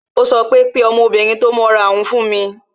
Ó sọ pé "Pe ọmọbìnrin tó mọ́ra hun fún mi"